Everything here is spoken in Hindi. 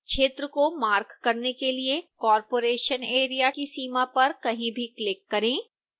क्षेत्र को मार्क करने के लिए corporation area की सीमा पर कहीं भी क्लिक करें